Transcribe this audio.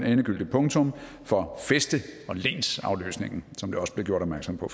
endegyldigt punktum for fæste og lensafløsningen som der også blev gjort opmærksom på